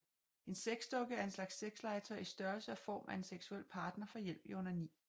En sexdukke er en slags sexlegetøj i størrelse og form af en seksuel partner for hjælp i onani